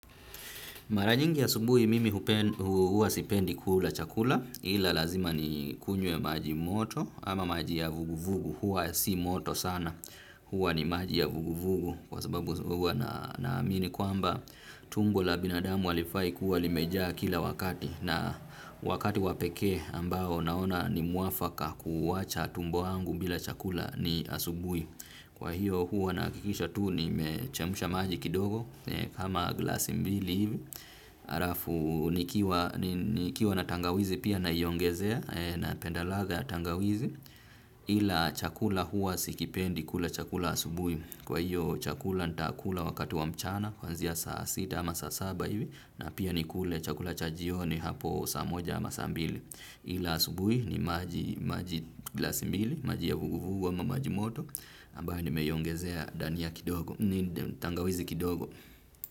Mara nyingi asubuhi mimi huwa sipendi kula chakula ila lazima ni kunywe maji moto ama maji ya vuguvugu huwa si moto sana huwa ni maji ya vuguvugu kwa sababu huwa naamini kwamba tumbo la binadamu halifai kuwa limejaa kila wakati na wakati wa peke ambao naona ni mwafaka kuwacha tumbo angu bila chakula ni asubuhi. Kwa hiyo huwa nakikisha tuu nimechemsha maji kidogo kama glasi mbili hivi. Alafu nikiwa na tangawizi pia naiongezea napendalaga tangawizi. Ila chakula huwa sikipendi kula chakula asubui. Kwa hiyo chakula ntakula wakati wa mchana kuanzia saa sita ama saa saba hivi. Na pia nikule chakula cha jioni hapo saa moja ama saa mbili. Ila asubui ni maji glasi mbili, maji ya vuguvugu ama maji moto. Ambayo nimeiongezea dania kidogo ni tangawizi kidogo.